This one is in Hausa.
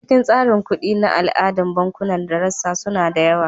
A cikin tsarin kuɗi na al'ada, bankunan da rassa suna da yawa.